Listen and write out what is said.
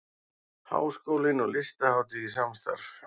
Háskólinn og Listahátíð í samstarf